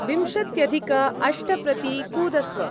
विंशत्यधिक-अष्ट प्रति कूदस्व।